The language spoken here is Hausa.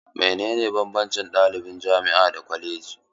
Menene banbancin ɗaliban jami'a da na kwaleji?